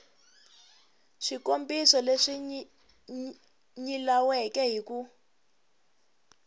swikombiso leswi nyilaweke hi ku